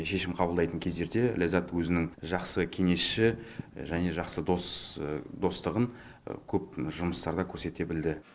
шешім қабылдайтын кездерде ләззат өзінің жақсы кеңесші және жақсы достығын көп жұмыстарда көрсете білді